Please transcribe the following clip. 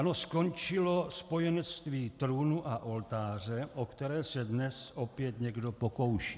Ano, skončilo spojenectví trůnu a oltáře, o které se dnes opět někdo pokouší.